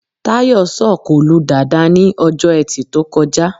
Táyọ̀ sọ̀kò lu Dàda ní Ọjọ́ Ẹtì tó kọjá